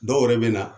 Dɔw yɛrɛ bɛ na